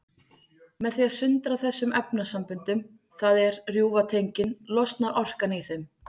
Með því að sundra þessum efnasamböndum, það er rjúfa tengin, losnar orkan í þeim.